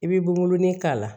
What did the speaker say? I bi bomo ni k'a la